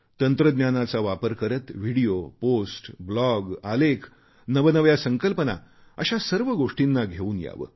तंत्रज्ञानाचा वापर करत व्हिडिओ पोस्ट ब्लॉग आलेख नवनव्या संकल्पना अशा सर्व गोष्टी घेऊन यावे